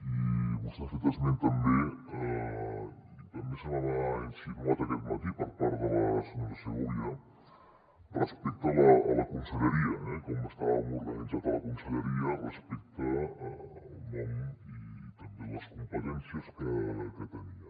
i vostè n’ha fet esment també i també se m’ha insinuat aquest matí per part de la senyora segovia respecte a la conselleria eh com estàvem organitzats a la conselleria respecte al nom i també les competències que tenia